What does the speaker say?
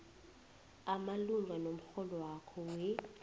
imalungana nomrholwakho we